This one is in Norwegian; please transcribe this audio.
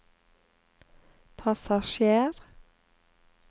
passasjer